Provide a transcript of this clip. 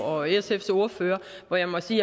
og sfs ordfører hvor jeg må sige